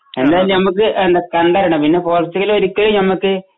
എന്തയാലും ഞമ്മക്ക് എന്താ കണ്ടറിയണം പിന്നെ പോർച്ചുഗൽ ഒരിക്കലും ഞമ്മക്ക്